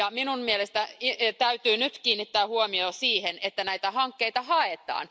Minun mielestäni nyt täytyy kiinnittää huomio siihen, että näitä hankkeita haetaan.